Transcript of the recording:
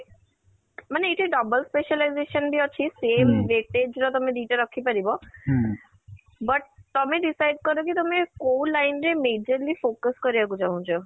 ମାନେ ଏଇଟା double specialization ବି ଅଛି same wattage ର ତମେ ଦି ଟା ରଖି ପାରିବ But, ତମେ decide କର କି ତମେ କୋଉ line ରେ majorly focus କରିବାକୁ ଚାହୁଁଛ ?